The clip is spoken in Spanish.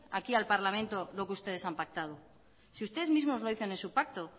aquí al parlamento lo que ustedes han pactado si ustedes mismos lo dicen en su pacto